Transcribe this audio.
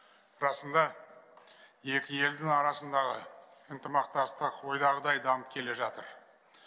расында екі елдің арасындағы ынтымақтастық ойдағыдай дамып келе жатыр